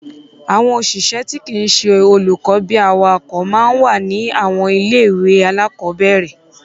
Àwọn òṣìṣẹ́ tí kìí ṣe olùkọ bíi awakọ máa ń wà ní àwọn ilé-ìwé alákọ̀ọ́bẹ̀ẹ̀rẹ̀.